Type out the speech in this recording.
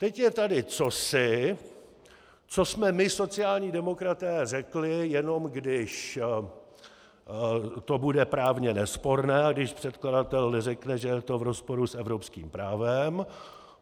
Teď je tady cosi, co jsme my, sociální demokraté, řekli, jenom když to bude právně nesporné a když předkladatel neřekne, že je to v rozporu s evropským právem.